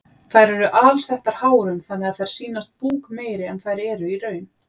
Þær eru alsettar hárum þannig að þær sýnast búkmeiri en þær eru í raun.